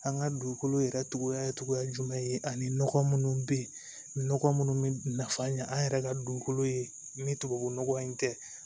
An ka dugukolo yɛrɛ cogoya ye cogoya jumɛn ye ani nɔgɔ munnu be yen nɔgɔ munnu be nafan ɲɛ an yɛrɛ ka dugukolo ye ni tubabu nɔgɔ in tɛ